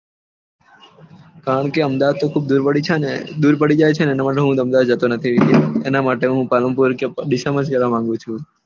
કારણ કે અમદાવાદ ખુબ દુર પડી ને દુર પડી જાય છેને એટલા માટે હું અમદાવાદ જતો નથી એના માટે હું પલનપુર કે દેચેમ્બ્ર થી જવા માંગું છું